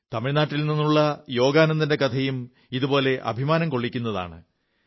തമിഴ്നാടിൽ നിന്നുള്ള യോഗാനന്ദന്റെ കഥയും ഇതുപോലെ അഭിമാനം കൊള്ളിക്കുന്നതാണ്